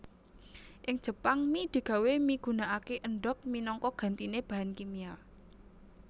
Ing Jepang mi digawé migunakaké endhog minangka gantiné bahan kimia